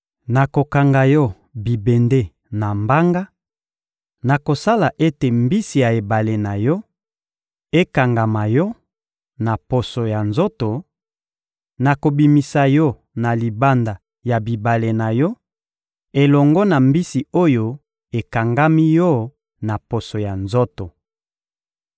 Nakokanga yo bibende na mbanga, nakosala ete mbisi ya ebale na yo ekangama yo na poso ya nzoto; nakobimisa yo na libanda ya bibale na yo elongo na mbisi oyo ekangami yo na poso ya nzoto.